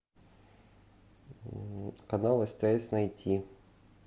канал стс найти